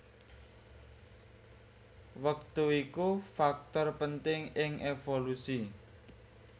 Wektu iku faktor penting ing évolusi